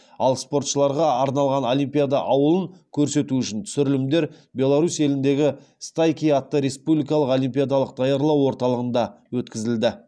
ал спортшыларға арналған олимпиада ауылын көрсету үшін түсірілімдер беларусь еліндегі стайки атты республикалық олимпиадалық даярлау орталығында өткізілді